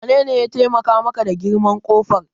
Wanene ya taimaka maka da girman ƙofar?